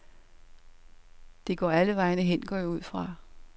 Det går alle vegne hen, går jeg ud fra.